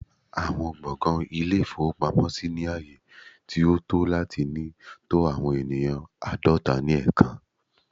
Awọn gbọngàn Ilé-ìfowópamọ́sí ni aaye ti o to lati ni to awọn eniyan aadọta ni ẹẹkan